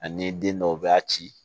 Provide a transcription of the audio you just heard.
Ani den dɔw b'a ci